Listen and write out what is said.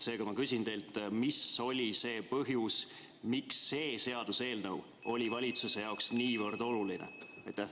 Seega ma küsin teilt nii: mis põhjusel oli see seaduseelnõu valitsuse jaoks niivõrd oluline?